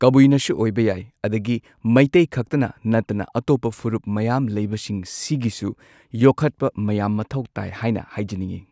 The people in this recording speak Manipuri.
ꯀꯕꯨꯏꯅꯁꯨ ꯑꯣꯏꯕ ꯌꯥꯏ ꯑꯗꯒꯤ ꯃꯩꯇꯩꯈꯛꯇꯅ ꯅꯠꯇꯅ ꯑꯇꯣꯞꯄ ꯐꯨꯔꯨꯞ ꯃꯌꯥꯝ ꯂꯩꯕꯁꯤꯡ ꯁꯤꯒꯤꯁꯨ ꯌꯣꯈꯠꯄ ꯃꯌꯥꯝ ꯃꯊꯧ ꯇꯥꯏ ꯍꯥꯏꯅ ꯍꯥꯏꯖꯅꯤꯡꯏ꯫